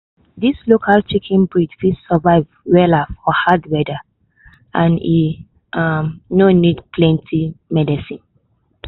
dis local chicken breed fit survive wella for hard weather and e um no need plenty medicine.